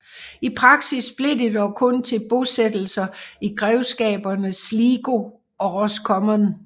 I praksis blev det dog kun til bosættelser i grevskaberne Sligo og Roscommon